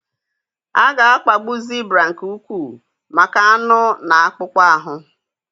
A ga-akpagbu zibra nke ukwuu maka anụ na akpụkpọ ahụ.